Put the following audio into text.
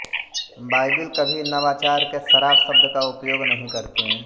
Bible कभी नवाचार के शराब शब्द का उपयोग नहीं करते